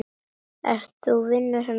Ert þú vinur hennar Lóu?